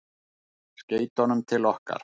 Skeytunum til okkar?